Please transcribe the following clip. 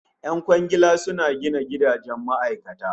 Yan kwangila suna gina gidajen ma'aikata